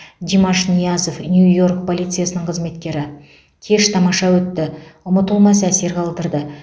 димаш ниязов нью йорк полициясының қызметкері еш тамаша өтті ұмытылмас әсер қалдырды